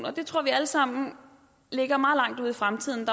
og det tror vi alle sammen ligger meget langt ud i fremtiden